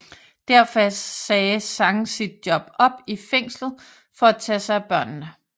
Derfor sagde Zhang sit job op i fængslet for at tage sig af børnene